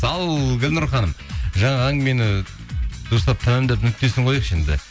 ал гүлнұр ханым жаңа әңгімені дұрыстап тәмамдап нүктесін қояйықшы енді